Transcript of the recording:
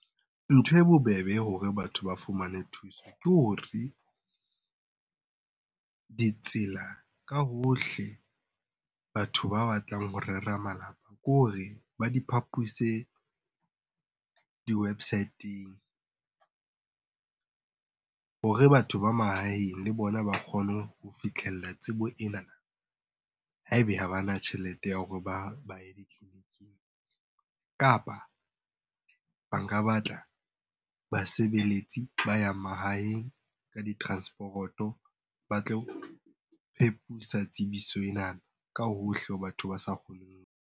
Ntho e bobebe hore batho ba fumane thuso ke hore ditsela ka hohle batho ba batlang ho rera malapa, kore ba diphapuse di-website-eng hore batho ba mahaeng le bona ba kgone ho fitlhella tsebo ena ha ebe ha bana tjhelete ya hore ba ye ditleliniking. Kapa ba nka batla basebeletsi ba ya mahaheng ka di-transporoto ba tlo tsebiso enana ka hohle ho batho ba sa kgoneng .